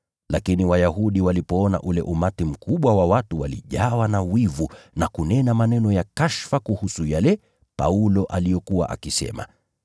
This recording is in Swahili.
Lakini Wayahudi walipoona ule umati mkubwa wa watu walijawa na wivu, wakayakanusha maneno Paulo aliyokuwa akisema.